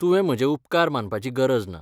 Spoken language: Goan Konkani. तुवें म्हजे उपकार मानपाची गरज ना.